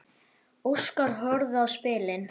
Óskar horfði á spilin.